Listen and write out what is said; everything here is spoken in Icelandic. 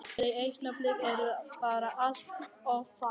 Þau augnablik eru bara allt of fá.